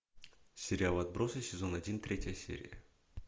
сериал отбросы сезон один третья серия